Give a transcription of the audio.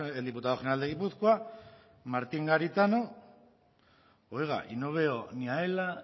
el diputado general de gipuzkoa martín garitano oiga y no veo ni a ela